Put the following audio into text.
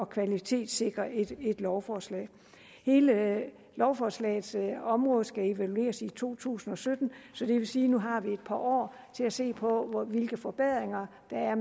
kvalitetssikre et lovforslag hele lovforslagets område skal evalueres i to tusind og sytten så det vil sige nu har et par år til at se på hvilke forbedringer der er